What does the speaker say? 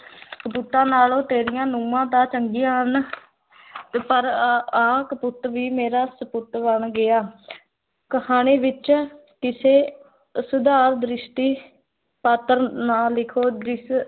ਕਪੁੱਤਾਂ ਨਾਲੋਂ ਤੇਰੀਆਂ ਨੂੰਹਾਂ ਤਾਂ ਚੰਗੀਆਂ ਹਨ ਤੇ ਪਰ ਅਹ ਆਹ ਕਪੁੱਤ ਵੀ ਮੇਰਾ ਸਪੁੱਤ ਬਣ ਗਿਆ ਕਹਾਣੀ ਵਿੱਚ ਕਿਸੇ ਸੁਧਾਰ ਦ੍ਰਿਸ਼ਟੀ ਪਾਤਰ ਨਾ ਲਿਖੋ